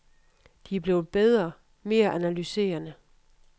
De er blevet bedre, mere analyserende.